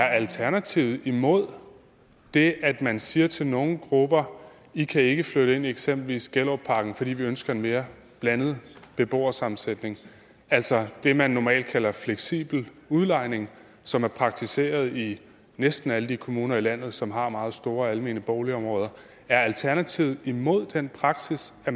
alternativet imod det at man siger til nogle grupper i kan ikke flytte ind i eksempelvis gellerupparken fordi vi ønsker en mere blandet beboersammensætning altså det man normalt kalder fleksibel udlejning som er praktiseret i næsten alle de kommuner i landet som har meget store almene boligområder er alternativet imod den praksis at